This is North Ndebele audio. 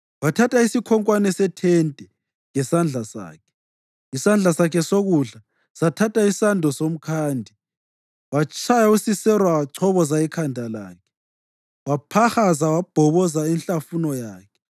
Wathatha isikhonkwane sethente ngesandla sakhe, isandla sakhe sokudla sathatha isando somkhandi. Watshaya uSisera, wachoboza ikhanda lakhe, waphahaza wabhoboza inhlafuno yakhe.